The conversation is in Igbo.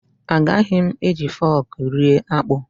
Agaghị m eji fọk rie akpụ.